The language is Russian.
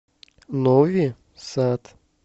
нови сад